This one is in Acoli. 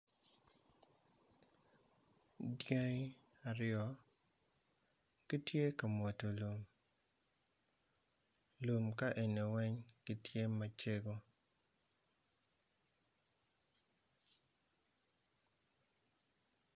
Dyangi aryo gitye ka mwodo lum, lum kaeni weng gitye macego.